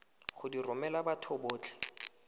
go di romela batho botlhe